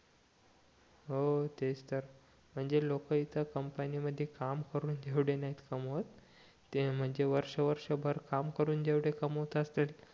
हो तेच तर म्हणजे लोकं इथं कंपनी मधी काम करून जेवढे नाही कमवत ते म्हणजे वर्ष वर्ष भर काम करून कमवत असतील